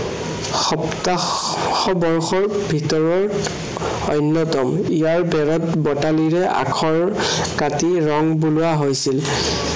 সপ্তাশ বৰ্ষৰ ভিতৰৰ অন্য়তম। ইয়াৰ বেৰত বটালিৰে আখৰ কাটি ৰং বুলোৱা হৈছিল।